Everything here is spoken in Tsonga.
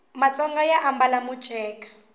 matsonga ma ambala miceka